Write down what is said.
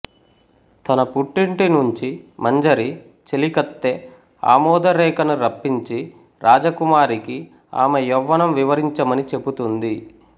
తన పుట్టింటినుంచి మంజరి చెలికత్తె ఆమోదరేఖను రప్పించి రాజకుమారికి ఆమె యౌవనం వివరించమని చెబుతుంది